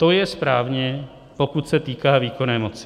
To je správně, pokud se týká výkonné moci.